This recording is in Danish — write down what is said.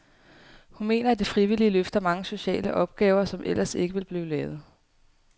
Hun mener, at de frivillige løfter mange sociale opgaver, som ellers ikke vil blive lavet.